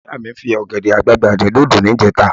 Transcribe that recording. Ìyá mi fi ọ̀gẹ̀dẹ̀ àgbagbà dín dòdò níjẹta